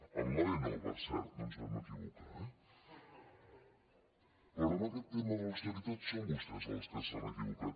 en l’ave no per cert no ens vam equivocar eh però en aquest tema de l’austeritat són vostès els que s’han equivocat